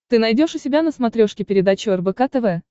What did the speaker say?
ты найдешь у себя на смотрешке передачу рбк тв